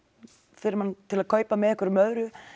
fyrir mann til að kaupa með einhverju öðru